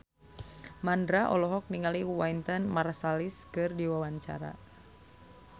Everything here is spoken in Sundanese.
Mandra olohok ningali Wynton Marsalis keur diwawancara